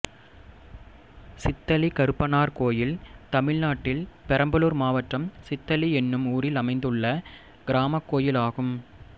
சித்தளி கருப்பனார் கோயில் தமிழ்நாட்டில் பெரம்பலூர் மாவட்டம் சித்தளி என்னும் ஊரில் அமைந்துள்ள கிராமக் கோயிலாகும்